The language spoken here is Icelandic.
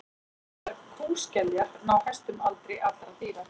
svonefndar kúskeljar ná hæstum aldri allra dýra